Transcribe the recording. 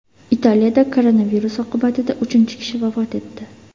Italiyada koronavirus oqibatida uchinchi kishi vafot etdi.